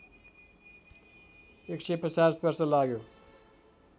१५० वर्ष लाग्यो